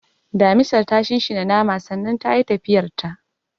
, Damisar ta shinshina naman sannan tayi tafiyarta.